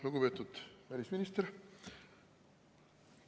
Lugupeetud välisminister!